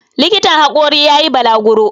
likitan hakorin ya yi balaguro